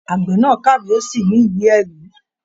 Agbẹ̀ náà kàwé, o sì ní ìwé-ẹ̀rí.